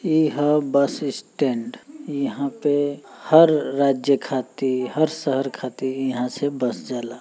इ ह bus stand. इहां पे हर राज्य खातिर हर शहर खातिर इहां से बस जाला।